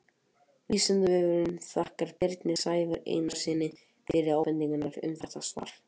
Vísindavefurinn þakkar Birni Sævari Einarssyni fyrir ábendingar um þetta svar.